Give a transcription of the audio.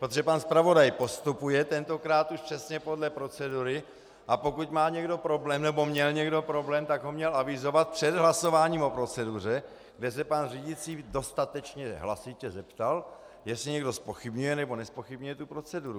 Protože pan zpravodaj postupuje tentokrát už přesně podle procedury, a pokud má někdo problém nebo měl někdo problém, tak ho měl avizovat před hlasováním o proceduře, kde se pan řídící dostatečně hlasitě zeptal, jestli někdo zpochybňuje nebo nezpochybňuje tu proceduru.